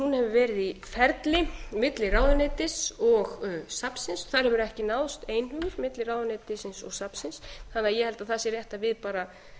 gerð í ferli milli ráðuneytis og safnsins þar hefur ekki náðst einhugur milli ráðuneytisins og safnsins þannig að ég held að það sé rétt að við bara